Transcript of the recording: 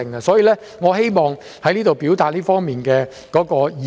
所以，我希望在此表達這方面的意見。